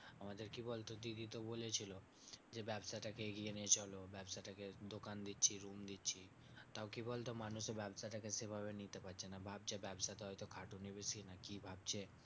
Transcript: আমাদের কি বলতো? দিদি তো বলেছিল যে, ব্যাবসাটা কে এগিয়ে নিয়ে চলো। ব্যাবসাটা কে দোকান দিচ্ছি room দিচ্ছি। তাও কি বলতো? মানুষে ব্যাবসাটা কে সেভাবে নিতে পারছে না। ভাবছে ব্যবসাতে হয়তো খাটুনি বেশি নাকি ভাবছে